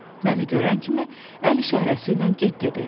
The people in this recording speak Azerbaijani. Məni görən kimi əl işarəsiylə get dedi.